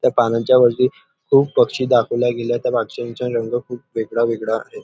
त्या पानांच्या वरती खुप सारे पक्षी दाखवल्या गेले त्या पक्ष्यांचा रंग खुप वेगळा वेगळा आहे.